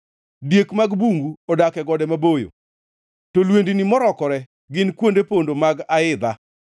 Diek mag bungu odak e gode maboyo, to lwendni morokore gin kuonde pondo mag aidha.